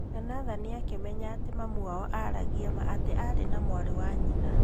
Na Nathan akĩmenya atĩ mami wao aragia ma atĩ arĩ na mwarĩ wa nyina.